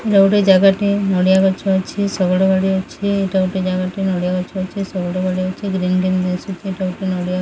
ଏଇଟା ଗୋଟେ ଜାଗା ଟେ ନଡିଆ ଗଛ ଅଛି ଶଗଡ ଗାଡି ଅଛି ଏଇଟା ଗୋଟେ ଜାଗା ଟେ ନଡିଆ ଗଛ ଅଛି ଶଗଡ ଗାଡି ଅଛି ଗ୍ରୀନ ଗ୍ରୀନ ଦିଶୁଚି --